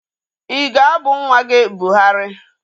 I ga-abụ nwa gị Buhari?